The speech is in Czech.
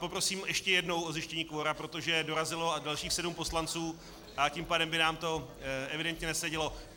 Poprosím ještě jednou o zjištění kvora, protože dorazilo dalších sedm poslanců a tím pádem by nám to evidentně nesedělo.